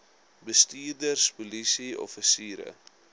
bestuurders polisie offisiere